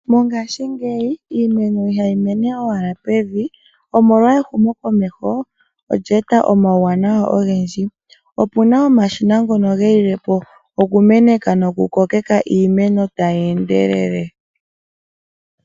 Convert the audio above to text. Mongaashingeyi iimeno ihayi mene owala pevi, omolwa ehumokomeho, olye eta omauwanawa ogendji. Opu na omashina ngono gelile po okumeneka nokukokeka iimeno tayi endelele.